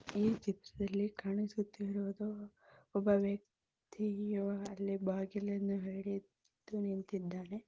ಈ ಚಿತ್ರದಲ್ಲಿ ಕಾಣಿಸುತ್ತಿರುವುದು ಒಬ್ಬ ವ್ಯಕ್ತಿ ಅಲ್ಲಿ ಬಾಗಿಲನ್ನು ಹಿಡಿದು ನಿಂತಿದ್ದಾನೆ.